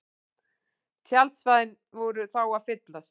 Tjaldsvæðin voru þá að fyllast